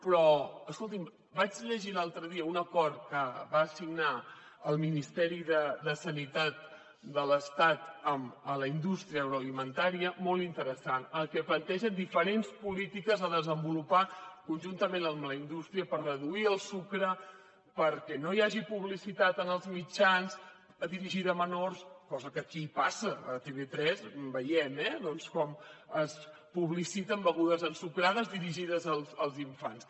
però escolti’m vaig llegir l’altre dia un acord que va signar el ministeri de sanitat de l’estat amb la indústria agroalimentària molt interessant que planteja diferents polítiques a desenvolupar conjuntament amb la indústria per reduir el sucre perquè no hi hagi publicitat en els mitjans dirigida a menors cosa que aquí passa a tv3 veiem eh doncs com es publiciten begudes ensucrades dirigides als infants